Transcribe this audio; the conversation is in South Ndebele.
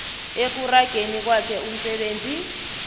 ekurageni kwakhe umsebenzi